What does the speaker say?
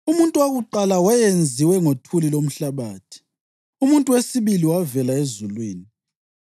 Umuntu wakuqala wayenziwe ngothuli lomhlabathi; umuntu wesibili wavela ezulwini.